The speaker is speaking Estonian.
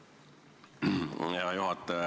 Hea juhataja!